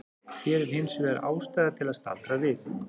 Hér er hins vegar ástæða til að staldra við.